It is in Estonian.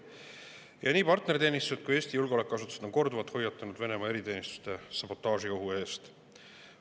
Nii partner kui ka Eesti julgeolekuasutused on korduvalt hoiatanud Venemaa eriteenistuste sabotaaži ohu eest.